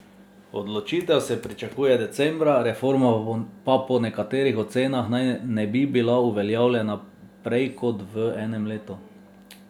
Odločitev se pričakuje decembra, reforma pa po nekaterih ocenah naj ne bi bila uveljavljena prej kot v enem letu.